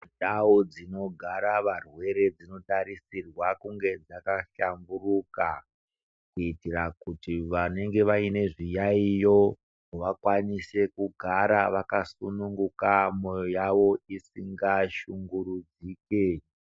Ndau dzinogara varwere dzino tarisirwa kunge dzaka hlamburuka kuitira kuti vanenge vaine zviyaiyo vakwanise kugara vakasununguka moyo yavo isinga shungurudzike.